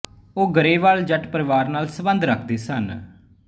ਉਹ ਗਰੇਵਾਲ ਜੱਟ ਪਰਿਵਾਰ ਨਾਲ ਸਬੰਧ ਰੱਖਦੇ ਸਨ